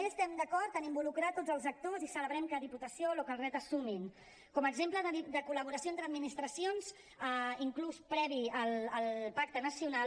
també estem d’acord en involucrar tots els actors i celebrem que diputació i localret s’hi sumin com a exemple de col·laboració entre administracions inclús previ al pacte nacional